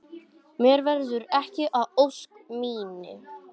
Mér verður ekki að ósk minni.